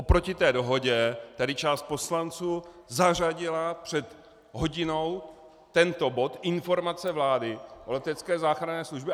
Oproti té dohodě tady část poslanců zařadila před hodinou tento bod Informace vlády o letecké záchranné službě.